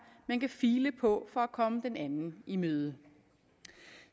man kan file på for at komme den anden i møde